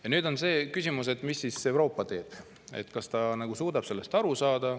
Ja nüüd on see küsimus, mis siis Euroopa teeb, kas ta suudab sellest aru saada.